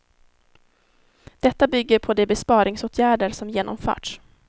Detta bygger på de besparingsåtgärder som genomförts.